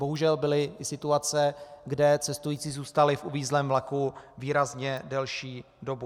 Bohužel byly i situace, kde cestující zůstali v uvízlém vlaku výrazně delší dobu.